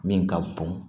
Min ka bon